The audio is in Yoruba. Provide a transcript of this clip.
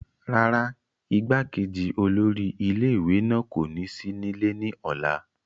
rárá, igbákejì olórí ilé ìwé kò ní sí nílé ní ọ̀la